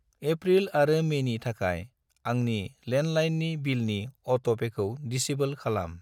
April आरो मेनि थाखाय आंनि लेन्डलाइननि बिलनि अट'पेखौ दिसेब्ल खालाम।